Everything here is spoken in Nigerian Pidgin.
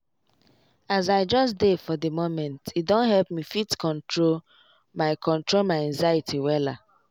as i just dey for di momente don help me fit control my control my anxiety wella.